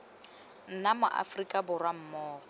nna ma aforika borwa mmogo